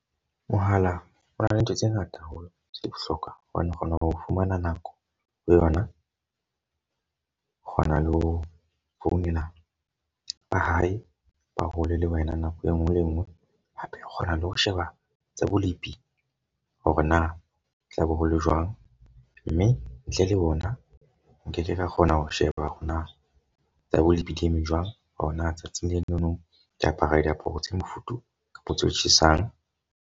Mohala o na le ntho tse ngata haholo tse bohlokwa. Hobane o kgona ho fumana nako ho yona. Kgona le ho founela ba hae ba hole le wena. Nako e nngwe le e nngwe hape o kgona le ho sheba tsa bolepi. Hore na tlabe hole jwang mme ntle le ona nkeke ka kgona ho sheba hore na tsa bolepi di eme jwang. Hore na tsatsing lenono ke apara diaparo tse mofuthu kapa tse tjhesang.